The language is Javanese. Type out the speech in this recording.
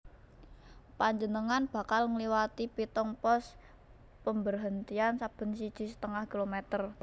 Panjenengan bakal ngliwati pitung pos pemberhentian saben siji setengah kilometer